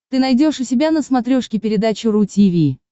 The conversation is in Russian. ты найдешь у себя на смотрешке передачу ру ти ви